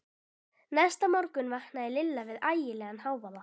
Næsta morgun vaknaði Lilla við ægilegan hávaða.